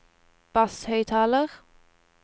basshøyttaler